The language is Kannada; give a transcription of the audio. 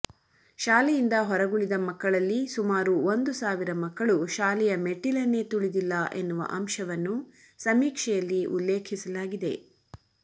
ಶಾಲೆಯಿಂದ ಹೊರಗುಳಿದ ಮಕ್ಕಳಲ್ಲಿ ಸುಮಾರು ಒಂದು ಸಾವಿರ ಮಕ್ಕಳು ಶಾಲೆಯ ಮೆಟ್ಟಿಲನ್ನೇ ತುಳಿದಿಲ್ಲ ಎನ್ನುವ ಅಂಶವನ್ನು ಸಮೀಕ್ಷೆಯಲ್ಲಿ ಉಲ್ಲೇಖೀಸಲಾಗಿದೆ